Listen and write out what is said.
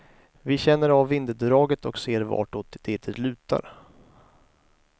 Vi känner av vinddraget och ser vartåt det lutar.